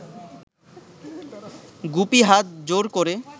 গুপি হাত জোড় ক’রে